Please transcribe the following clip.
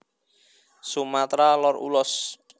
Sumatra Lor Ulos